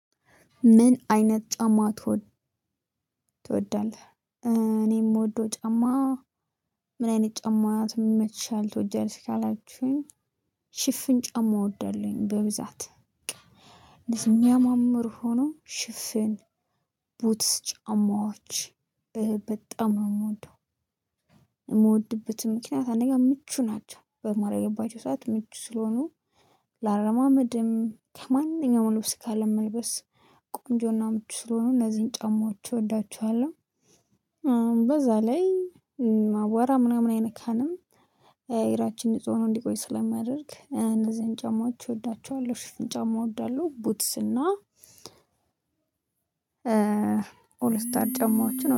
ምን አይነት ጫማ ትወድ ትወዳለህ? እኔ የምወደው ጫማ ምን አይነት ጫማ ይመችሻል ትወጃለሽ? ካላችሁኝ ሽፍን ጨማ እወደዋለሁኝ በብዛት የሚያማምር ሆኖ ሽፍን ቡትስ ጫማዎች በጣም ነው የምወደው። የምወድበትም ምክንያት አንደኛ ምቹ ናቸው በማረግባቸው ሰዓት ምቹ ስለሆኑ ለአረማመድም ከማንኛውም ልብስ ካለ መልበስ ቆንጆና ምቹ ስለሆኑ እነዚህን ጫማዎች እወዳቸዋለሁ። በዛ ላይ አቧራ ምናምን አይነካንም እግራችን ንጹህ ሆኖ እንዲቆይ ስለማደርግ እነዚህን ጫማዎች እወዳቸዋለሁ። ሽፍን ጫማ እወዳለሁ ቡትስ እና ኦልስታር ጫማዎችን